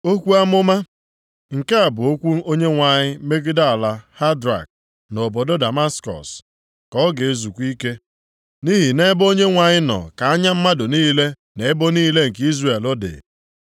Okwu Amụma. Nke a bụ okwu Onyenwe anyị megide ala Hadrak, na obodo Damaskọs ka ọ ga-ezukwa ike, nʼihi nʼebe Onyenwe anyị nọ ka anya mmadụ niile na ebo niile nke Izrel dị.